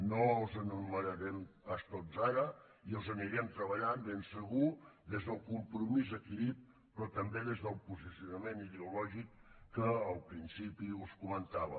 no els enumerarem pas tots ara i els anirem treballant ben segur des del compromís adquirit però també des del posicionament ideològic que al principi us comentava